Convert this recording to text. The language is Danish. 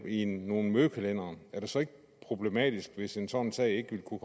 i nogle mødekalendere er det så ikke problematisk hvis en sådan sag ikke ville kunne